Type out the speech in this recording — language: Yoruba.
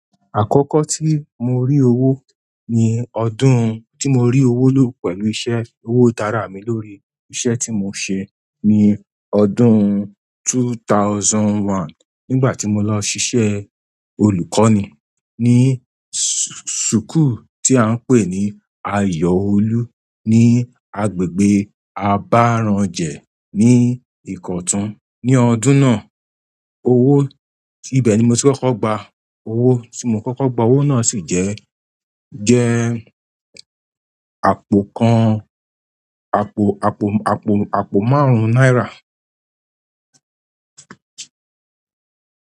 Àkọ́kọ́ tí mo rí owó ni ọdún tí mo rí owó lò pẹ̀lú iṣẹ́, owó ti ára mi lórí iṣẹ́ tí mo ṣe ní ọdún two thousand and one nígbà tí mo lọ ṣiṣẹ́ olùkọ́ni ní school tí à ń pè ní Ayọ̀ Olú ní agbègbè Abarranje ní Ìkọ̀tún. Ní ọdún náà, owó ìbẹ̀ ni mo ti kọ́kọ́ gba. Owó tí mo kọ́kọ́ gba owó náà sì jẹ́, jẹ́ àpò kan, àpò márùn náírà.